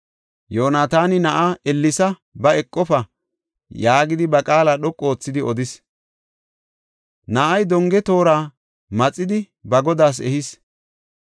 Yoonataani na7aa, “Ellesa; ba; eqofa” yaagidi ba qaala dhoqu oothidi odis. Na7ay donge toora maxidi ba godaas ehis.